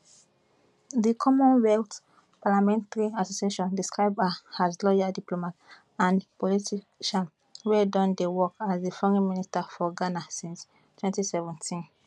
di commonwealth parliamentary association describe her as lawyer diplomat and politician wey don dey work as di foreign minister for ghana since 2017